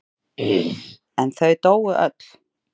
En þau dóu öll.